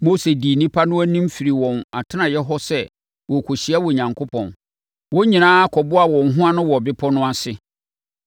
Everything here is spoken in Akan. Mose dii nnipa no anim firi wɔn atenaeɛ hɔ sɛ wɔrekɔhyia Onyankopɔn. Wɔn nyinaa kɔboaa wɔn ho ano wɔ bepɔ no ase.